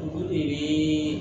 Olu de bɛ